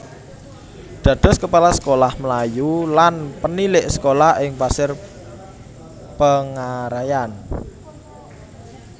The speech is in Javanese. Dados Kepala Sekolah Melayu lan Penilik Sekolah ing Pasir Pengarayan